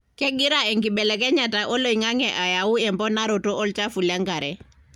kengira enkibelekenyata oloingange ayau emponaroto olchafu lenkare